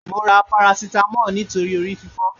Mo ra paracetamol nítorí orí fífọ́